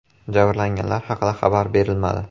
Jabrlanganlar haqida xabar berilmadi.